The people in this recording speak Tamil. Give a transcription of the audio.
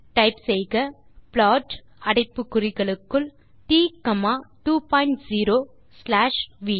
டைப் செய்க ப்ளாட் அடைப்பு குறிகளுக்குள் t comma 2 point 0 slash we